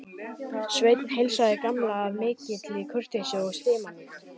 Sveinn heilsaði Gamla af mikilli kurteisi og stimamýkt.